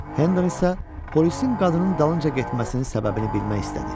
Henden isə polisin qadının dalınca getməsinin səbəbini bilmək istədi.